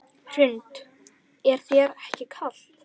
Hrund: Er þér ekki kalt?